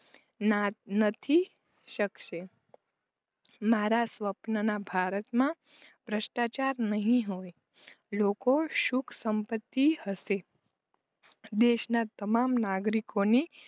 નથી શકશે મારા સ્વપ્નના ભારત માં ભ્રસ્ટાચાર નહિ હોય. લોકો સુખ સંપત્તિ હશે દેશના તમામ નાગરિકોને